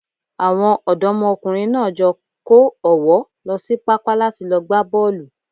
Àwọn ọ̀dọ́mọkùnrin náà jọ kó ọ̀wọ́ lọ sí pápá láti lọ gbá bọ́ọ̀lù.